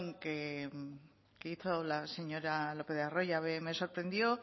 que hizo la señora lopez de arroyabe me sorprendió